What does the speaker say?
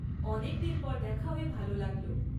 অনেকদিন পর দেখা হয়ে ভালো লাগল।